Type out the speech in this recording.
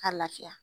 Ka lafiya